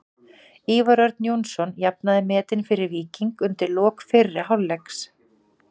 Ívar Örn Jónsson jafnaði metin fyrir Víking undir lok fyrri hálfleiks.